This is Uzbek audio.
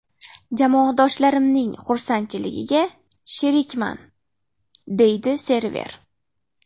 Jamoadoshlarimning xursandchiligiga sherikman”, − deydi Server.